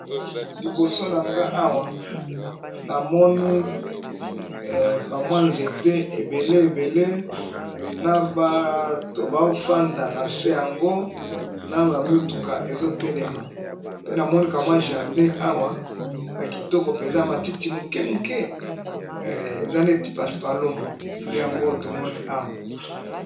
Liboso nangai Awa namoni ba mwa nzete ebele ebele na bato bazo fanda nase yango na ba mutuka ezo telema pe namoni ka mwa jardin yakitoko penza na ba matiti Mike Mike nde nazo Mona Awa.